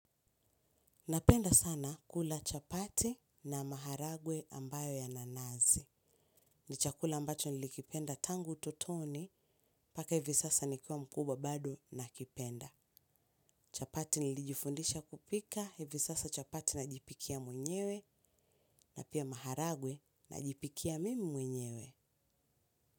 Napenda sana kula chapati na maharagwe ambayo yananazi. Ni chakula ambacho nilikipenda tangu ututoni, mpaka hivi sasa nikiwa mkubwa bado nakipenda. Chapati nilijifundisha kupika. Hivi sasa chapati najipikia mwenyewe. Na pia maharagwe, najipikia mimi mwenyewe.